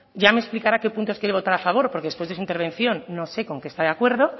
ya me explicará qué puntos quiere votar a favor porque después de su intervención no sé con qué está de acuerdo